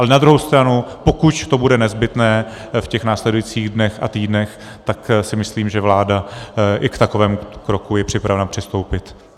Ale na druhou stranu, pokud to bude nezbytné v těch následujících dnech a týdnech, tak si myslím, že vláda i k takovému kroku je připravena přistoupit.